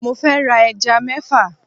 Mo fẹ́ ra ẹja mẹ́fà.